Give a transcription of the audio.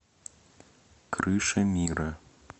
крыша мира